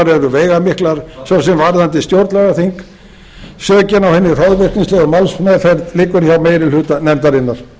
eru veigamiklar svo sem varðandi stjórnlagaþing sökin á hinni hroðvirknislegu málsmeðferð liggur hjá meiri hluta nefndarinnar